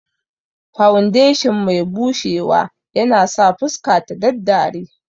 Fawundeshin mai bushewa yanasa fuska ta daddare